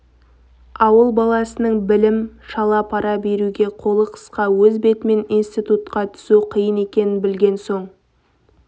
ауыл баласының білім шала пара беруге қолы қысқа өз бетімен институтқа түсу қиын екенін білген соң